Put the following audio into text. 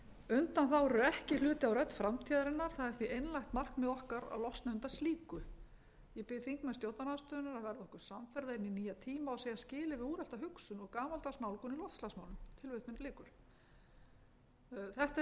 undanþágur eru ekki hluti af rödd framtíðarinnar það er því einlægt markmið okkar að losna undan slíku ég bið þingmenn stjórnarandstöðunnar að verða okkur samferða inn í nýja tíma og segja skilið við úrelta hugsun og gamaldags nálgun í loftslagsmálum þetta hefur nú